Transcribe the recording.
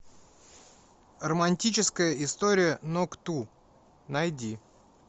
романтическая история нок ту найди